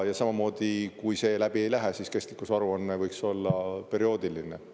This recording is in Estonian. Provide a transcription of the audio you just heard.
Ja samamoodi, kui see läbi ei lähe, siis kestlikkusaruanne võiks olla perioodiline.